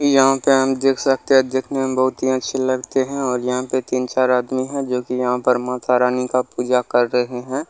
यहाँ पे हम देख सकते है दिखने मे बहुत ही अच्छी लगते है और यहाँ पे तीन-चार आदमी है जो की यहाँ पर माता रानी का पूजा कर रहे है।